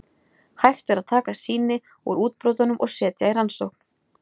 Hægt er að taka sýni úr útbrotunum og setja í rannsókn.